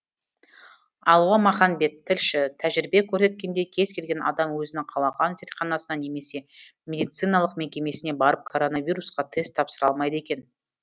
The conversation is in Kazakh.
алуа маханбет тілші тәжірибе көрсеткендей кез келген адам өзінің қалаған зертханасына немесе медициналық мекемесіне барып коронавирусқа тест тапсыра алмайды екен